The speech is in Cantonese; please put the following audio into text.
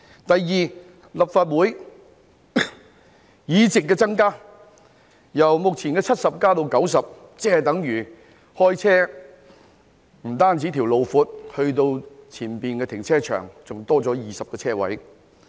第二，增加立法會議席，由目前的70席增加至90席，即是等於駕駛時，不僅加闊了前往停車場的道路，還增加了20個車位。